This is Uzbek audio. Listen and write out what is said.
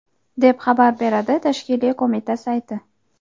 deb xabar beradi tashkiliy qo‘mita sayti.